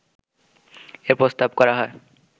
এ প্রস্তাব করা হয়